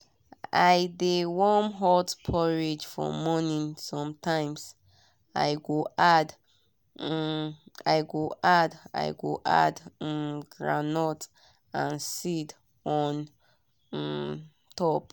i dey warm hot porridge for morning sometimes i go add i go add um groundnut and seeds on um top.